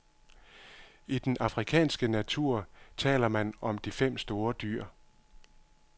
I den afrikanske natur taler man om de fem store dyr.